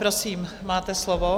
Prosím, máte slovo.